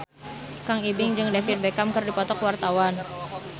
Kang Ibing jeung David Beckham keur dipoto ku wartawan